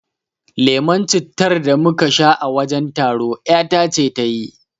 Lemon cittar da muka sha a wajen taro ƴata ce ta yi